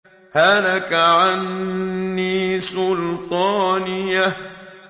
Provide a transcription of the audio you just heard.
هَلَكَ عَنِّي سُلْطَانِيَهْ